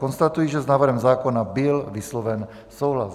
Konstatuji, že s návrhem zákona byl vysloven souhlas.